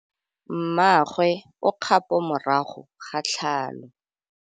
Mmagwe o kgapô morago ga tlhalô.